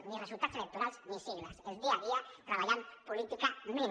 ni resultats electorals ni sigles el dia a dia treballant políticament